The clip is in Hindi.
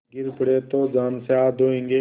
गिर पड़े तो जान से हाथ धोयेंगे